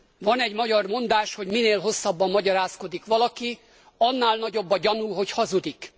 Van egy magyar mondás, hogy minél hosszabban magyarázkodik valaki, annál nagyobb a gyanú, hogy hazudik.